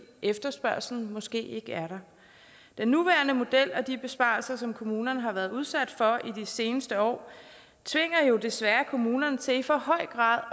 efterspørgslen måske ikke er der den nuværende model og de besparelser som kommunerne har været udsat for i de seneste år tvinger jo desværre kommunerne til i for høj grad